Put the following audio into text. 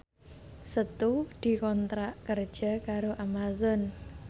Setu dikontrak kerja karo Amazon